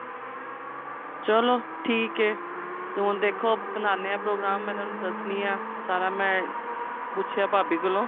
ਚਲੋ ਠੀਕ ਏ ਤੇ ਹੁਣ ਦੇਖੋ ਬਨਾਨੇ ਆ program ਮੈਂ ਇਹਨਾ ਨੂੰ ਦੱਸਦੀ ਆ ਸਾਰਾ ਮੈਂ ਪੁੱਛਿਆ ਭਾਬੀ ਕੋਲੋਂ